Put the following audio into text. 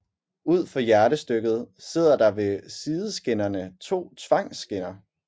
Ud for hjertestykket sidder der ved sideskinnerne to tvangskinner